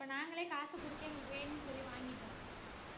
இப்ப நாங்களே காசு குடுத்து எங்களுக்கு வேணும்னு சொல்லி வாங்கிட்டோம்